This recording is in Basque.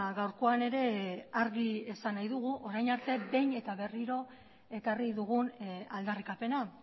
gaurkoan ere argi esan nahi dugu orain arte behin eta berriro ekarri dugun aldarrikapena